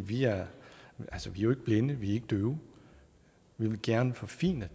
vi er jo ikke blinde ikke døve vi vil gerne forfine